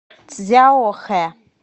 цзяохэ